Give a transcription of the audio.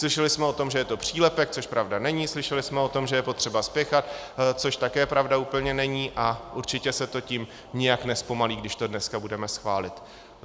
Slyšeli jsme o tom, že je to přílepek, což pravda není, slyšeli jsme o tom, že je potřeba spěchat, což také pravda úplně není, a určitě se to tím nijak nezpomalí, když to dneska budeme schválit.